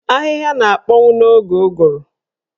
Ahịhịa na-akpọnwu n'oge ụgụrụ.